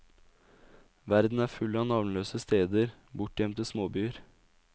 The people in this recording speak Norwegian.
Verden er full av navnløse steder, bortgjemte småbyer.